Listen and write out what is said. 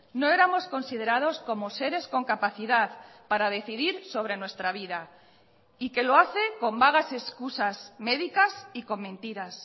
no éramos considerados como seres con capacidad para decidir sobre nuestra vida y que lo hace con vagas excusas médicas y con mentiras